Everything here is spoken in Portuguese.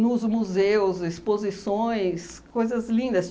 nos museus, exposições, coisas lindas.